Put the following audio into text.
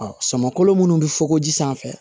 Ɔ sama kolo minnu bɛ fɔ ko ji sanfɛ